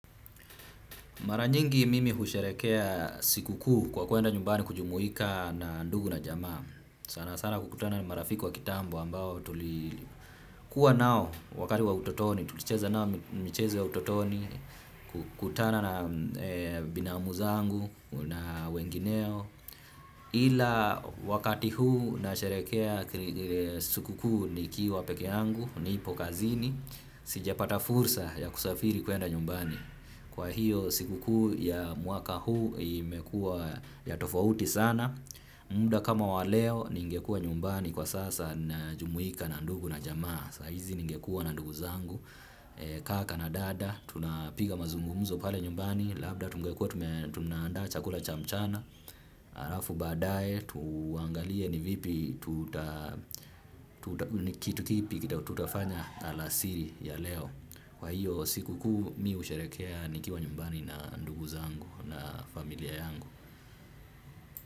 Mara nyingi mimi husherehekea siku kuu kwa kuenda nyumbani kujumuika na ndugu na jamaa. Sana sana kukutana ni marafiki wa kitambo ambao tulikuwa nao wakati wa utotoni. Tulicheza nao michezo ya utotoni kukutana na binamuza zangu na wengineo. Ila wakati huu nasherehekea sikukuu ni kiwa pekee yangu nilipo kazini. Sijapata fursa ya kusafiri kuenda nyumbani. Kwa hiyo siku kuu ya mwaka huu imekua ya tofauti sana. Muda kama waleo ningekua nyumbani kwa sasa na jumuika na ndugu na jamaa. Saa hizi ningekua na ndugu zangu. Kaka na dada, tunapiga mazungumzo pale nyumbani. Labda tungekua tunaandaa chakula chamchana hAlafu baadaye, tuangalie ni vipi kitu kipi tutafanya alasiri ya leo. Kwa hiyo siku kuu mi husherehekea nikiwa nyumbani na ndugu zangu na familia yangu.